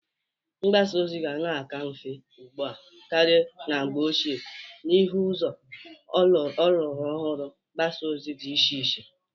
Mgbasa ozi ga na-aka mfe ugbu a kara na mgbe oche n'ihe ụzọ ọlụrụ ọhụrụ mgbasa ozi dị iche iche.